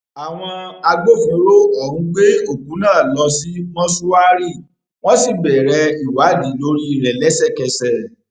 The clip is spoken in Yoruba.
àwọn agbófinró ọhún gbé òkú náà lọ sí mọṣùárí wọn sì bẹrẹ ìwádìí lórí rẹ lẹsẹkẹsẹ